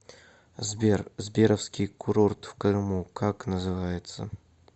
сбер сберовский курорт в крыму как называется